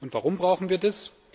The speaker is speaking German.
Warum brauchen wir das?